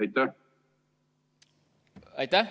Aitäh!